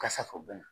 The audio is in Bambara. Kasa fɛ u bɛ na